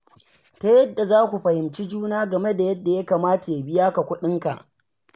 Ta yadda za ku fihimci juna game da yadda ya kamata ya biya ka kuɗinka.